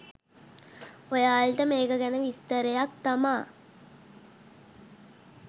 ඔයාලට මේක ගැන විස්තරයක් තමා.